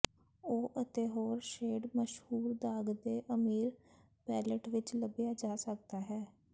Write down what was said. ਉਹ ਅਤੇ ਹੋਰ ਸ਼ੇਡ ਮਸ਼ਹੂਰ ਦਾਗ ਦੇ ਅਮੀਰ ਪੈਲਅਟ ਵਿੱਚ ਲੱਭਿਆ ਜਾ ਸਕਦਾ ਹੈ